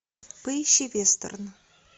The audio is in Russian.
поищи вестерн